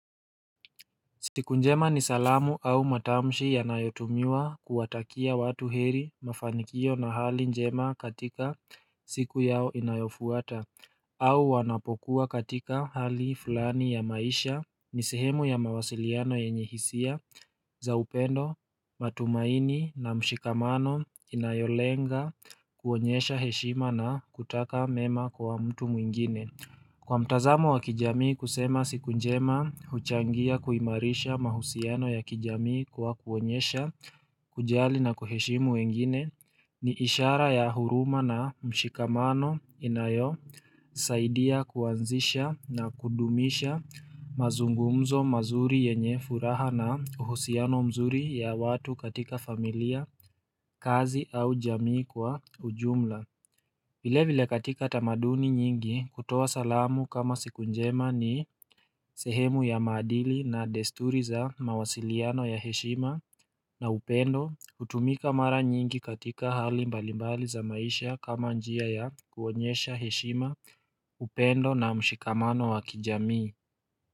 Siku njema ni salamu au matamshi yanayotumiwa, kuwatakia watu heri, mafanikio na hali njema, katika siku yao inayofuata au wanapokuwa katika hali fulani ya maisha, ni sehemu ya mawasiliano yenye hisia za upendo, matumaini na mshikamano, inayolenga kuonyesha heshima, na kutaka mema kwa mtu mwingine. Kwa mtazamo wa kijamii kusema siku njema huchangia kuimarisha mahusiano ya kijamii kwa kuonyesha kujali na kuheshimu wengine ni ishara ya huruma, na mshikamano, inayosaidia kuanzisha na kudumisha mazungumzo mazuri yenye furaha, na uhusiano mzuri ya watu katika familia, kazi au jamii kwa ujumla vile vile katika tamaduni nyingi, kutoa salamu kama siku njema ni sehemu ya maadili, na desturi za mawasiliano ya heshima, na upendo, hutumika mara nyingi katika hali mbalimbali za maisha kama njia ya kuonyesha heshima, upendo na mshikamano wa kijamii.